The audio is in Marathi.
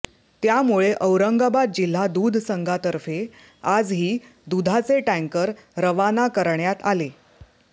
त्यामुळे औरंगाबाद जिल्हा दूध संघातर्फे आजही दुधाचे टँकर रवाना करण्यात आले